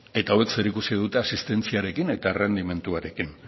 eta hauek zerikusia dute asistentziarekin eta errendimenduarekin